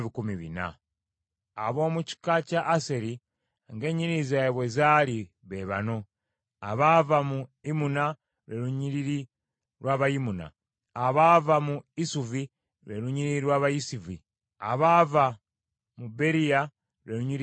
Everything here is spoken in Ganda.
Ab’omu kika kya Aseri ng’ennyiriri zaabwe bwe zaali be bano: abaava mu Imuna, lwe lunyiriri lw’Abayimuna; abaava mu Isuvi, lwe lunyiriri lw’Abayisuvi; abaava mu Beriya, lwe lunyiriri lw’Ababeriya.